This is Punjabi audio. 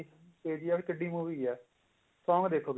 KGF ਕਿੱਡੀ movie ਹੈ song ਦੇਖੋ